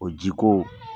O ji ko